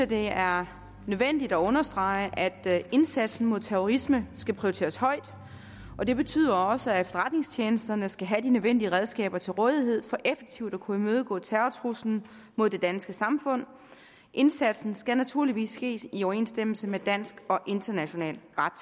det er nødvendigt at understrege at indsatsen mod terrorisme skal prioriteres højt og det betyder også at efterretningstjenesterne skal have de nødvendige redskaber til rådighed for effektivt at kunne imødegå terrortruslen mod det danske samfund indsatsen skal naturligvis ske i overensstemmelse med dansk og international ret